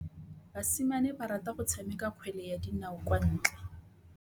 Basimane ba rata go tshameka kgwele ya dinaô kwa ntle.